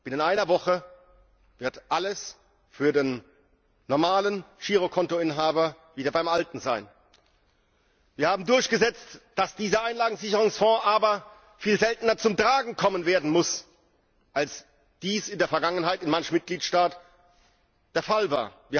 Binnen einer Woche wird für den normalen Girokontoinhaber alles wieder beim Alten sein. Wir haben durchgesetzt, dass dieser Einlagensicherungsfonds aber viel seltener zum Tragen wird kommen müssen, als dies in der Vergangenheit in manchem Mitgliedstaat der Fall war.